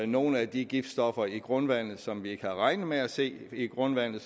nogle af de giftstoffer i grundvandet som vi ikke havde regnet med at se i grundvandet